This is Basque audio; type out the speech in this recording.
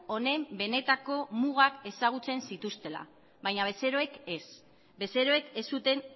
honen benetako mugak ezagutzen zituztela baina bezeroek ez bezeroek ez zuten